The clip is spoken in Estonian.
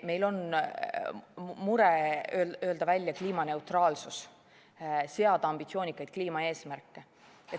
Meil on mure, et öeldaks välja "kliimaneutraalsus", seataks ambitsioonikaid kliimaeesmärke.